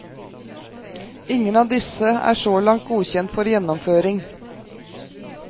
Ingen av disse er så langt godkjent for gjennomføring.